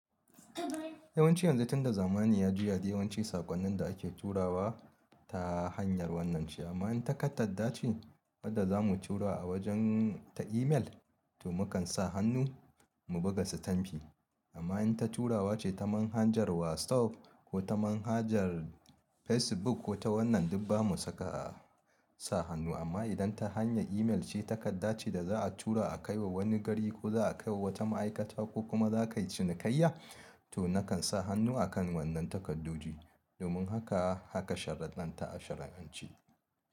Yawanci yanzu tunda zamani ya juya, yawanci sakonnin da ake turawa ta hanyar wannan ce amma in ta takarda ce wadda zamu tura a wajen ta email to zamu sa hannu mu buga stampi amma in ta turawa ce ta manhajar WhatsApp ko ta manhajar Facebook ko ta wannan duk ba mu saka sa hannu. Amma idan ta hanya email ce takarda ce da za a tura a kai wa wani gari ko za a kai wa wata ma'aikata ko kuma za ka yi cinikayya to na kan sa hannu a kan wannan takaddoji. Domin haka, haka sharudɗan ta a sharianci.